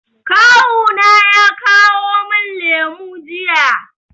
Kawu na ya kawo min lemu jiya.